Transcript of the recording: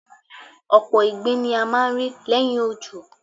Ọ̀pọ̀ ìgbín ni a máa ń rí lẹ́yìn òjò.